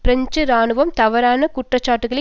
French இராணுவம் தவறான குற்றச்சாட்டுக்களை